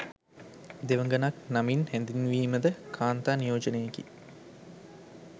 දෙවඟනක නමින් හැඳින්වීම ද කාන්තා නියෝජනයකි.